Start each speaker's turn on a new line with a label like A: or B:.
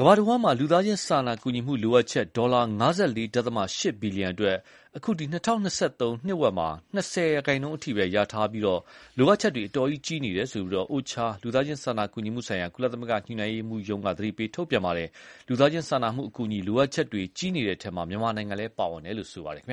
A: ကမ္ဘာတဝှမ်းလူသားချင်းစာနာကူညီမှုလိုအပ်ချက် ဒေါ်လာ ၅၄.၈ ဘီလီယံအတွက် အခု ၂၀၂၃ နှစ်ဝက်မှာ ၂၀ ရာခိုင်နှုန်းထိပဲ ရထားပြီးလိုအပ်ချက်တွေကြီးနေတယ်လို့ OCHA လူသားချင်း စာနာကူညီမှုဆိုင်ရာ ကုလညှိုနှိုင်းရေးမှုးက သတိပေးထုတ်ပြန်ထားပါတယ်။ လူသားချင်းစာနာမှုအကူအညီ လိုအပ်ချက်တွေ ကြီးနေတဲ့အထဲမှာ မြန်မာနိုင်ငံလည်းပါဝင်တယ်လို့ ပြောပါတယ်။